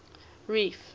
reef